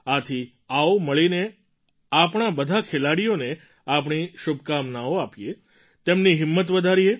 આથી આવો મળીને આપણાં બધાં ખેલાડીઓઓને આપણી શુભકામનાઓ આપીએ તેમની હિંમત વધારીએ